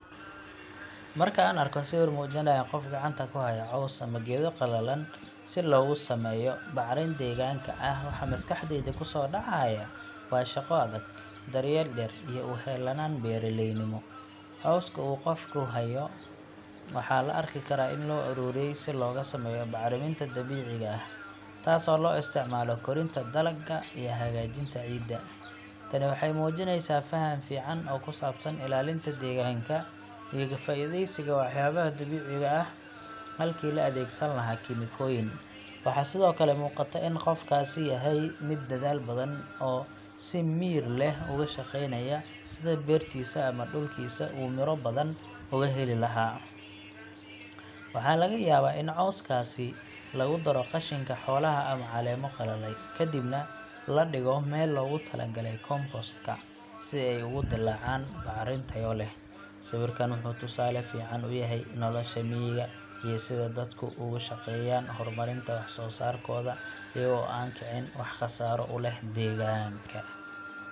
Marka aan arko sawir muujinaya qof gacanta ku haya caws ama geedo qalalan si loogu sameeyo bacrin deegaanka ah, waxa maskaxdayda ku soo dhacaya waa shaqo adag, daryeel dhir iyo u heelnaan beeraleynimo. Cawska uu qofku hayo waxaa la arki karaa in loo ururiyey si looga sameeyo bacriminta dabiiciga ah, taasoo loo isticmaalo korinta dalagga iyo hagaajinta ciidda. Tani waxay muujinaysaa faham fiican oo ku saabsan ilaalinta deegaanka iyo ka faa’iidaysiga waxyaabaha dabiiciga ah halkii la adeegsan lahaa kiimikooyin. Waxaa sidoo kale muuqata in qofkaasi yahay mid dadaal badan oo si miyir leh uga shaqaynaya sidii beertiisa ama dhulkiisa uu midho badan uga heli lahaa. Waxaa laga yaabaa in cawskaasi lagu daro qashinka xoolaha ama caleemo qalalay, kadibna la dhigo meel loogu talagalay compost-ka, si ay ugu dillaacaan bacrin tayo leh. Sawirkan wuxuu tusaale fiican u yahay nolosha miyiga iyo sida dadku uga shaqeeyaan horumarinta wax-soo-saarkooda iyaga oo aan kicin wax khasaaro u leh deegaanka.